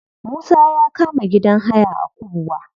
Musa ya kama gidan haya a kubwa.